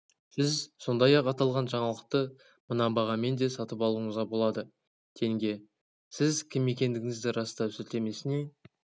сіз сондай-ақ аталған жаңалықты мына бағамен де сатып алуыңызға болады тенге сіз кім екендігіңізді растау сілтемесіне